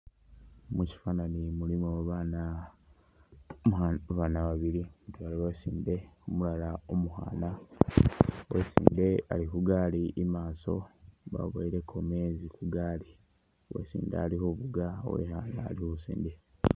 Mushifanani mulimo bana babaana babili mutwela uwesinde umulala umukhaana wesinde ali khugari imaso baboweleko meezi kugali , uwesinde ali khufuga uwekhana ali khusindikha.